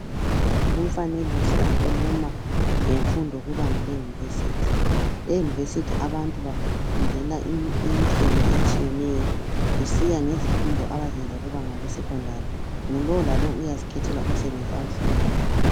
Lumfanekiso ukhuluma ngemfundo kubanga le university. Eyunivesithi abantu bafundela imisebenzi etshiyeneyo kusiya ngezifundo abazenza kubanga le secondary, ngulowo lalowo uyazikhethela umsebenzi awufunayo